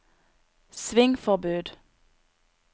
svingforbud